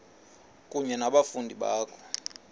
kunye nabafundi bakho